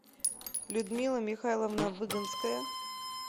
людмила михайловна выгонская